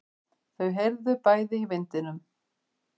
Þau heyrðu bæði í vindinum.